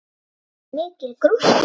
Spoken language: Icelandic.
Lillý: Mikil gróska í rappinu?